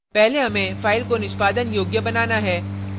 पहले हमें file को निष्पादन योग्य बनाना है